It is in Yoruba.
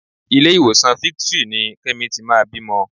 Ilé-ìwòsàn Victory ni Kẹ́mi ti máa bímọ.